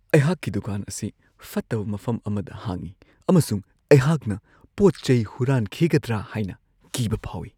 ꯑꯩꯍꯥꯛꯀꯤ ꯗꯨꯀꯥꯟ ꯑꯁꯤ ꯐꯠꯇꯕ ꯃꯐꯝ ꯑꯃꯗ ꯍꯥꯡꯉꯤ ꯑꯃꯁꯨꯡ ꯑꯩꯍꯥꯛꯅ ꯄꯣꯠ-ꯆꯩ ꯍꯨꯔꯥꯟꯈꯤꯒꯗ꯭ꯔꯥ ꯍꯥꯏꯅ ꯀꯤꯕ ꯐꯥꯎꯋꯤ ꯫